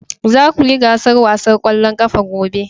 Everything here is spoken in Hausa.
Za ku yi gasar wasan kwallon kafa gobe